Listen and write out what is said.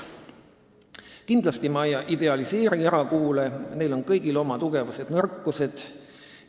Ma kindlasti ei idealiseeri erakoole, neil on kõigil oma tugevused ja nõrkused.